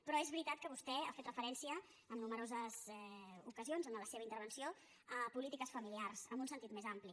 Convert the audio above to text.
però és veritat que vostè ha fet referència en nombroses ocasions en la seva intervenció a polítiques familiars en un sen·tit més ampli